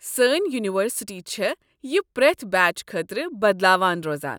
سٲنہِ یونیورسٹی چھےٚ یہِ پرٛٮ۪تھ بیچ خٲطرٕ بدلاوان روزان۔